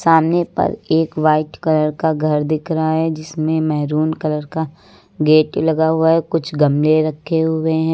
सामने पल एक व्हाइट कलर का घर दिख रहा है जिसमें मेहरून कलर का गेट लगा हुआ है। कुछ गमले रखे हुए हैं।